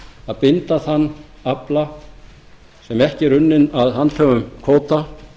að binda þann afla sem ekki er unninn af handhöfum kvóta